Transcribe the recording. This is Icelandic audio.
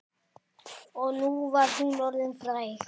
Og nú var hún orðin fræg.